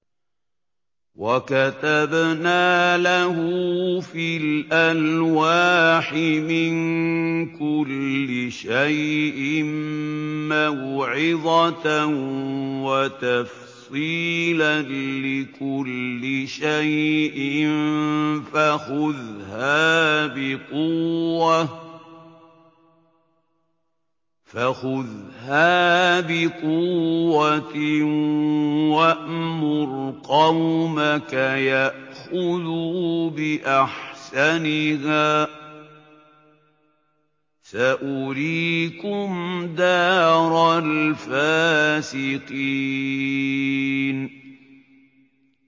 وَكَتَبْنَا لَهُ فِي الْأَلْوَاحِ مِن كُلِّ شَيْءٍ مَّوْعِظَةً وَتَفْصِيلًا لِّكُلِّ شَيْءٍ فَخُذْهَا بِقُوَّةٍ وَأْمُرْ قَوْمَكَ يَأْخُذُوا بِأَحْسَنِهَا ۚ سَأُرِيكُمْ دَارَ الْفَاسِقِينَ